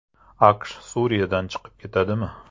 AQSh Suriyadan chiqib ketadimi?